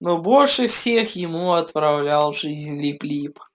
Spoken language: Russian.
но больше всех ему отравлял жизнь лип лип